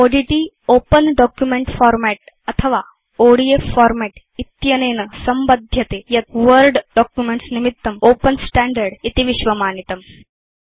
ODT Open document format अथवा ODF format इत्यनेन संबध्यते यत् वर्ड डॉक्युमेंट्स् निमित्तं ओपेन स्टैण्डर्ड् इति विश्वमानितम्